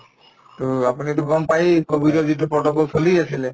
to আপুনিতো গম পাইয়ে কভিডৰ যিটো protocol চলি আছিলে